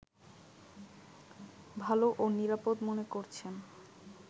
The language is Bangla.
ভালো ও নিরাপদ মনে করছেন